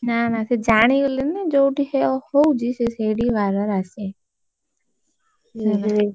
ନା ନା ସିଏ ଜାଣିଗଲେଣି ନା ଯୋଉଠି ହଉଛି, ସିଏ ସେଇଠିକି ବାର ବାର ଆସିବେ, ହେଲା।